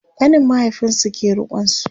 ƙanin mahaifinsu ke rikonsu